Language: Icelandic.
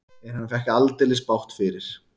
En hann fékk aldeilis bágt fyrir.